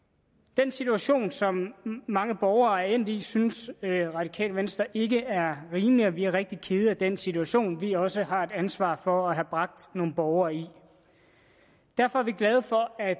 den situation som mange borgere er endt i synes radikale venstre ikke er rimelig og vi er rigtig kede af den situation vi også har et ansvar for at have bragt nogle borgere i derfor er vi glade for at